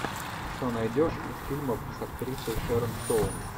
что найдешь из фильмов с актрисой шэрон стоун